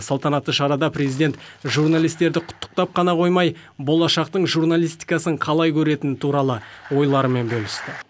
салтанатты шарада президент журналистерді құттықтап қана қоймай болашақтың журналистикасын қалай көретіні туралы ойларымен бөлісті